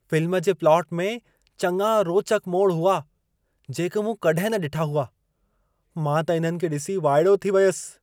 Film जे plot में चङा रोचक मोड़ हुआ, जेके मूं कॾहिं न ॾिठा हुआ। मां त इन्हनि खे ॾिसी वाइड़ो थी वियसि।